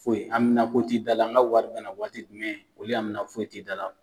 Foyi anmina ko ti da la, an ga wari bina waati jumɛn ? olu anmina foyi t'i da la.